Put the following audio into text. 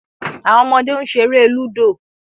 Awọn ọmọde n ṣere ludo